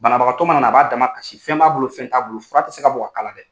Banabagatɔ mana na a b'a damakasi fɛn b'a bolo fɛn t'a bolo fura tɛ se ka bɔ k'a k'a la dɛ.